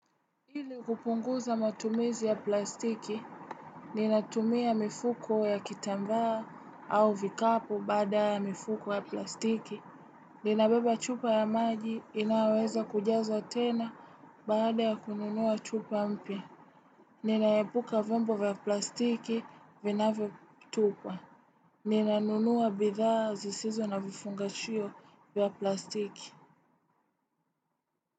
Ili kupunguza matumizi ya plastiki, ninatumia mifuko ya kitambaa au vikapu baada ya mifuko ya plastiki. Ninabeba chupa ya maji inayoweza kujazwa tena baada ya kununua chupa mpya. Ninaepuka vyombo vya plastiki vinavyotupwa. Ninanunua bidhaa zisizo na vifungashio vya plastiki.